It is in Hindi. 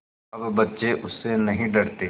अब बच्चे उससे नहीं डरते